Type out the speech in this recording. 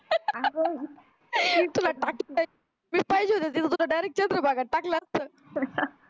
मी पाहिजे होती तिथं तुला direct चंद्रभागा मध्ये टाकलं असत